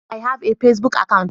I have a pacebook account.